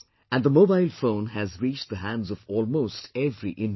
And the mobile phone has reached the hands of almost every Indian